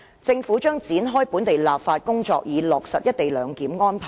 政府將展開本地立法工作，以落實一地兩檢安排。